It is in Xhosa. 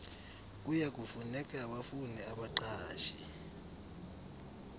kuyakufuneka bafune abaqashi